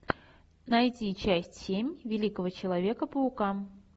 найти часть семь великого человека паука